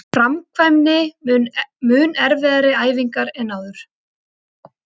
Framkvæmi mun erfiðari æfingar en áður